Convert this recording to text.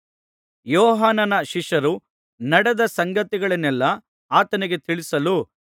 ಯೋಹಾನನ ಶಿಷ್ಯರು ನಡೆದ ಸಂಗತಿಗಳನ್ನೆಲ್ಲಾ ಆತನಿಗೆ ತಿಳಿಸಲು